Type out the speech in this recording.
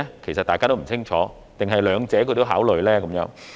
其實大家都不清楚，還是兩者也是考慮因素呢？